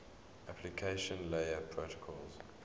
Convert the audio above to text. application layer protocols